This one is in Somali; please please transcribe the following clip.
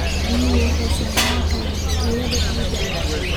Biyuhu waxay saamayn karaan tayada ciidda.